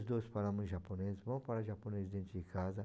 dois falamos japonês, vamos falar japonês dentro de casa.